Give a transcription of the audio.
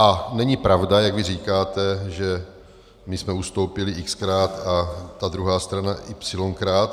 A není pravda, jak vy říkáte, že my jsme ustoupili x-krát a ta druhá strana y-krát.